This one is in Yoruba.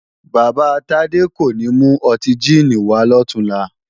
Bàbá Tádé kò ní mú ọtí jíìnì wàá lọ̀túnla